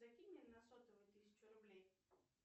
закинь мне на сотовый тысячу рублей